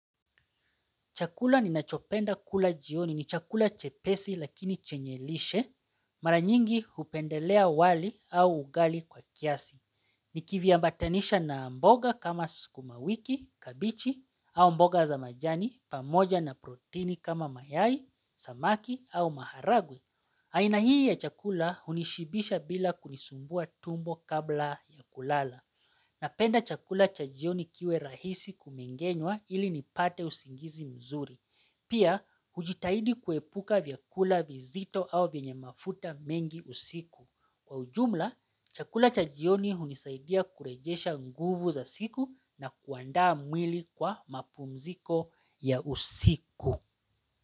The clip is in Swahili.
Chakula ninachopenda kula jioni ni chakula chepesi lakini chenye lishe, mara nyingi hupendelea wali au ugali kwa kiasi. Nikiviambatanisha na mboga kama sukumawiki, kabichi au mboga za majani, pamoja na protini kama mayai, samaki au maharagwe. Aina hii ya chakula hunishibisha bila kunisumbua tumbo kabla ya kulala. Napenda chakula cha jioni kiwe rahisi kumengenwa ili nipate usingizi mzuri. Pia, hujitahidi kuepuka vyakula vizito au vyenye mafuta mengi usiku. Kwa ujumla, chakula cha jioni hunisaidia kurejesha nguvu za siku na kuandaa mwili kwa mapumziko ya usiku.